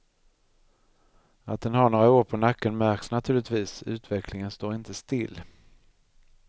Att den har några år på nacken märks naturligtvis, utvecklingen står inte still.